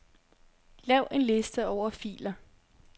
Lav en liste over filer.